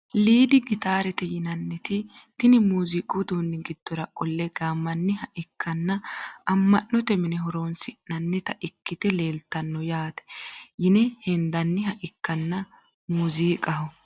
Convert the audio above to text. Lidi gitaarete yinaniti tini muuziqu uduuni giddora qolle gaamaniha ikkana ama`note mine horoonsinanita ikite leeltano yaate yine hendaniha ikkana muuzikaho.